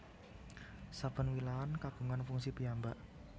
Saben wilahan kagungan fungsi piyambak